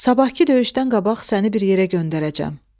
Sabahkı döyüşdən qabaq səni bir yerə göndərəcəm.